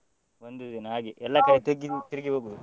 ಒಂದು ದಿನ ಹಾಗೆ ಕಡೆ ತಿರ್ಗಿ ತಿರ್ಗಿ ಹೋಗುದು.